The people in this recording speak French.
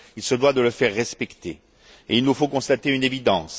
Il se doit de le faire respecter et il nous faut constater une évidence.